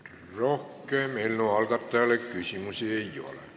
Rohkem eelnõu algatajale küsimusi ei ole.